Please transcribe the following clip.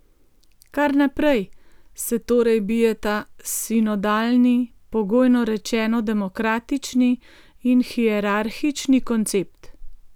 Kar naprej se torej bijeta sinodalni, pogojno rečeno demokratični, in hierarhični koncept.